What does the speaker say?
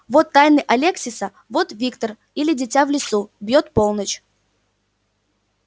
вот тайны алексиса вот виктор или дитя в лесу бьёт полночь